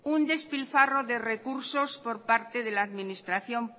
un despilfarro de recursos por parte de la administración